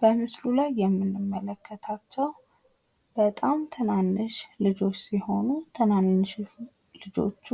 በምስሉ ላይ የምንመለከታቸው በጣም ትናንሽ ልጆች ሲሆኑ ትናንሽ ልጆቹ